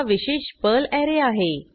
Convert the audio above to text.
हा विशेष Perl array आहे